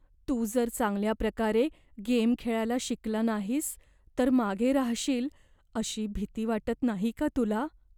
तू जर चांगल्या प्रकारे गेम खेळायला शिकला नाहीस तर मागे राहशील अशी भीती वाटत नाही का तुला?